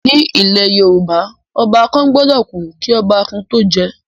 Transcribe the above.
Ní ilẹ̀ Yorùbá, Ọba kan gbọ́dọ̀ kú kí ọba kan tó jẹ́